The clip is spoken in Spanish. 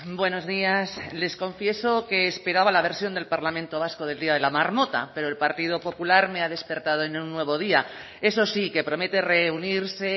buenos días les confieso que esperaba la versión del parlamento vasco del día de la marmota pero el partido popular me ha despertado en un nuevo día eso sí que promete reunirse